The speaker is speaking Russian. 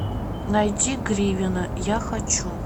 найди гривина я хочу